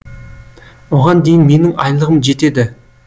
оған дейін менің айлығым жетеді